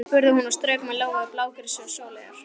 spurði hún og strauk með lófa yfir blágresi og sóleyjar.